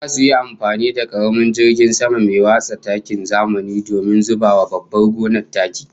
Zasu yi amfani da karamin jirgin sama mai watsa takin zamani don zuba wa babbar gonar taki